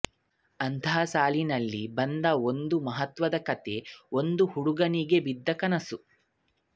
ಅಂತಹ ಸಾಲಿನಲ್ಲಿ ಬಂದ ಒಂದು ಮಹತ್ವದ ಕಥೆ ಒಂದು ಹುಡುಗನಿಗೆ ಬಿದ್ದ ಕನಸು